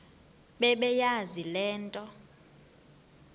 bebeyazi le nto